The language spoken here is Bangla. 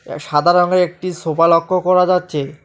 সাদা রঙ্গের একটি সোফা লক্ষ্য করা যাচ্চে।